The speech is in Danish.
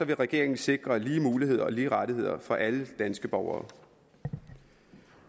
regeringen sikre lige muligheder og lige rettigheder for alle danske borgere